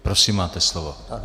Prosím, máte slovo.